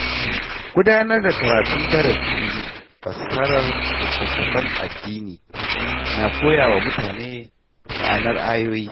Gudanar da karatun darasin fassarar littattafan addini na koya wa mutane ma’anar ayoyi.